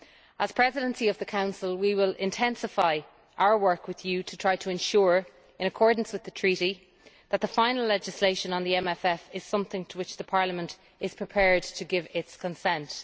As Presidency of the Council we will intensify our work with Parliament to try to ensure, in accordance with the Treaty, that the final legislation on the MFF is something to which Parliament is prepared to give its consent.